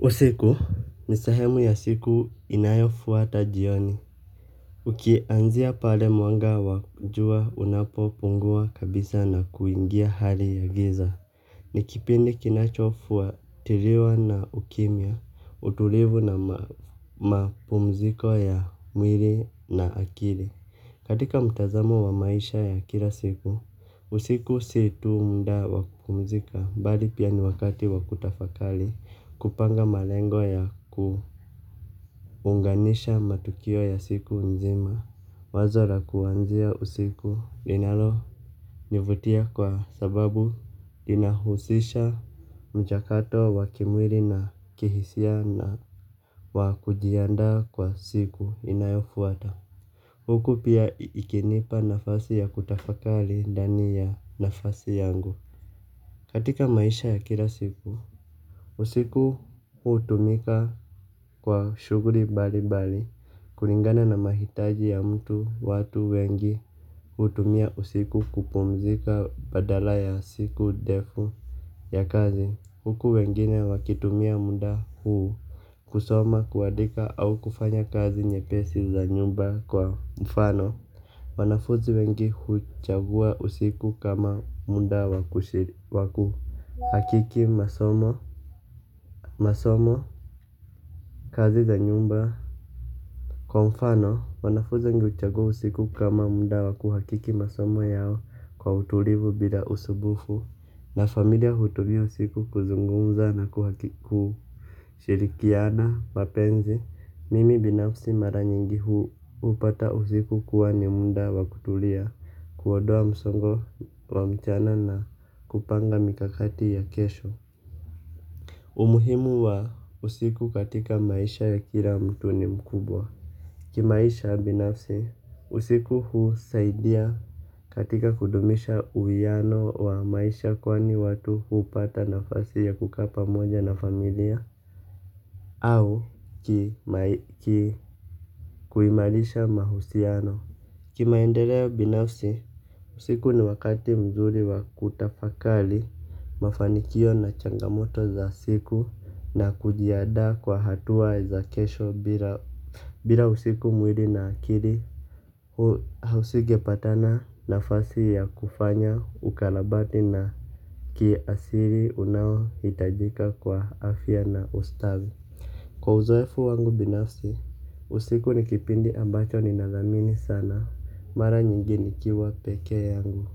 Usiku, ni sehemu ya siku inayofuata jioni. Ukianzia pale mwanga wa jua unapopungua kabisa na kuingia hali ya giza. Nikipindi kinachofuatiliwa na ukimya, utulivu na mapumziko ya mwili na akili. Katika mtazamo wa maisha ya kila siku, usiku sii tu muda wakupumzika bali pia ni wakati wa kutafakari kupanga malengo ya kuunganisha matukio ya siku nzima, wazo la kuwanzia usiku linalo nivutia kwa sababu inahusisha mchakato wa wakimwili na kihisia na wakujiandaa kwa siku inayofuata. Huku pia ikinipa nafasi ya kutafakari dani ya nafasi yangu katika maisha ya kila siku usiku hutumika kwa shughuli bali bali kulingana na mahitaji ya mtu watu wengi hutumia usiku kupumzika badala ya siku defu ya kazi huku wengine wakitumia muda huu kusoma kuadika au kufanya kazi nyepesi za nyumba kwa mfano wanafuzi wengi huchaguwa usiku kama muda wakushiri waku hakiki masomo. Masomo, kazi za nyumba kwa mfano, wanafuzi wengi kuchaguwa usiku kama muda waku hakiki masomo yao kwa utulivu bila usumbufu. Na familia hutumia usiku kuzungumza na kuhakiki kushirikiana, mapenzi, mimi binafsi mara nyingi huu hupata usiku kuwa ni muda wakutulia. Kuondoa msongo wa mchana na kupanga mikakati ya kesho umuhimu wa usiku katika maisha ya kila mtu ni mkubwa. Kimaisha binafsi, usiku husaidia katika kudumisha uwiano wa maisha kwani watu hupata nafasi ya kukaa pamoja na familia. Au ki kuimarisha mahusiano kimaendeleo binafsi, usiku ni wakati mzuri wa kutafakari mafanikio na changamoto za siku na kujiandaa kwa hatua za kesho bila usiku mwili na akili hu hausinge pata nafasi ya kufanya ukarabati na kiasili unao hitajika kwa afya na ustawi. Kwa uzoefu wangu binafsi, usiku nikipindi ambacho ninadhamini sana, mara nyingi nikiwa peke yangu,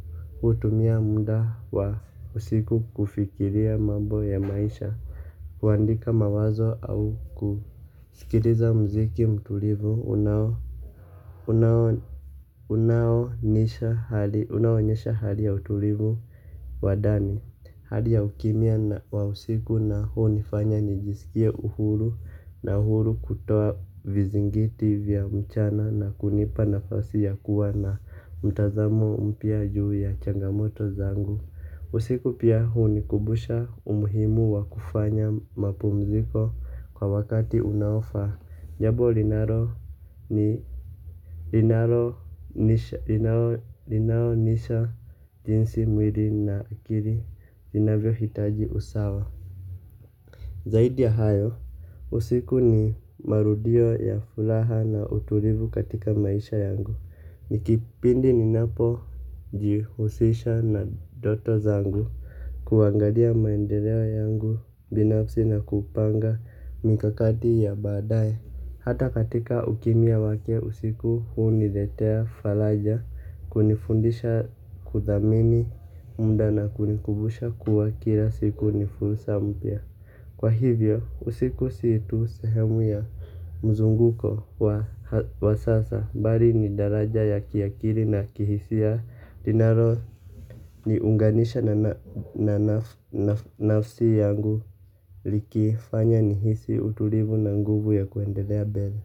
hutumia muda wa usiku kufikiria mambo ya maisha, kuandika mawazo au kusikiliza mziki mtulivu, unaonyesha hali ya utulivu wa ndani. Hali ya ukimia wa usiku hunifanya nijisikie uhuru na uhuru kutoa vizingiti vya mchana na kunipa nafasi ya kuwa na mtazamo mpya juu ya changamoto zangu. Usiku pia hunikumbusha umuhimu wa kufanya mapumziko kwa wakati unaofa. Njambo linalo onyesha jinsi mwili na akili inavyo hitaji usawa. Zaidi ya hayo usiku ni marudio ya furaha na utulivu katika maisha yangu. Nikipindi ni napo jihusisha na ndoto zangu kuangalia maendeleo yangu binafsi na kupanga mikakati ya baadaye. Hata katika ukimya wake usiku huniletea faraja kunifundisha kuthamini muda na kunikumbusha kuwa kila siku nifursa mpya. Kwa hivyo usiku si tu sehemu ya mzunguko wa sasa bali ni daraja ya kiakili na kihisia inalo ni unganisha na nafsi yangu ikifanya nihisi utulivu na nguvu ya kuendelea mbele.